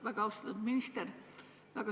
Väga austatud minister!